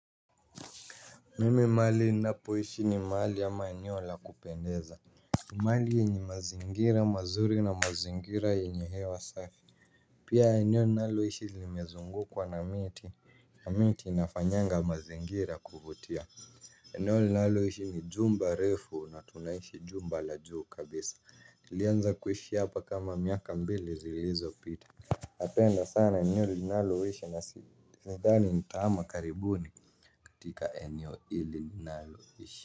Mimi mahali ninapo ishi ni mahali ama eneo la kupendeza mahali yenye mazingira mazuri na mazingira yenye hewa safi. Pia eneo ninalo ishi limezungukwa na miti na miti inafanyanga mazingira kuvutia eneo ninalo ishi ni jumba refu na tunaishi jumba la juu kabisa nilianza kuishi hapa kama miaka mbili zilizo pita napenda sana eneo linalo ishi na si nadhani nitahama karibuni katika eneo hili ninalo ishi.